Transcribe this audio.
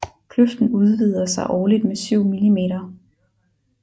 Kløften udvider sig årligt med syv millimeter